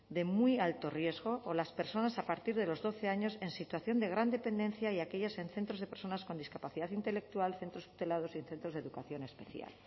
de muy alto riesgo o las personas a partir de los doce años en situación de gran dependencia y aquellas en centros de personas con discapacidad intelectual centros tutelados y centros de educación especial